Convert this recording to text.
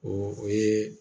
O o ye